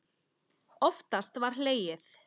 Oftast var hlegið.